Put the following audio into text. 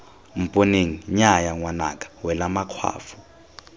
mponeng nnyaya ngwanaka wela makgwafo